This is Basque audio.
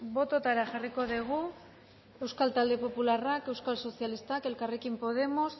bototara jarriko dugu euskal talde popularrak euskal sozialistak elkarrekin podemos